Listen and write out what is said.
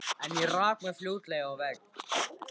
En ég rak mig fljótlega á vegg.